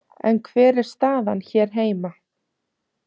En hver er staðan hér heima?